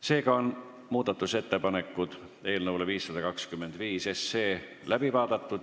Seega on muudatusettepanekud eelnõu 524 kohta läbi vaadatud.